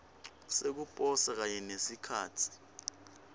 sekuposa kanye nesikhatsi